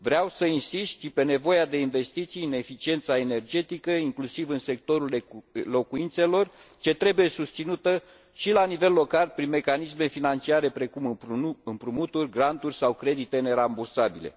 Vreau să insist și pe nevoia de investiții în eficiența energetică, inclusiv în sectorul locuințelor, ce trebuie susținută și la nivel local prin mecanisme financiare precum împrumuturi, granturi sau credite nerambursabile.